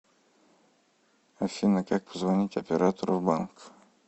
афина как позвонить оператору в банк